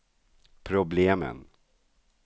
problemen